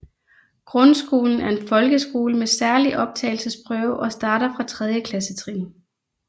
Grundskolen er en folkeskole med særlig optagelsesprøve og starter fra tredje klassetrin